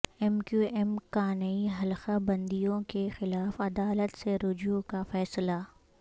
M Q M کا نئی حلقہ بندیوں کے خلاف عدالت سے رجوع کا فیصلہ